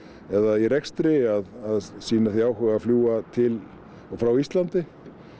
eða í rekstri að sýna því áhuga að fljúga til og frá Íslandi